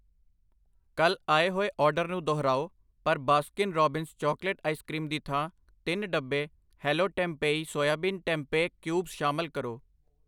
ਕੱਲ੍ਹ ਆਏ ਹੋਏ ਆਰਡਰ ਨੂੰ ਦੁਹਰਾਓ ਪਰ Baskin Robbins chocolate ice cream ਦੀ ਥਾਂ ਤਿੰਨ ਡੱਬੇ Hello Tempayy soybean tempeh cubes ਸ਼ਾਮਲ ਕਰੋ।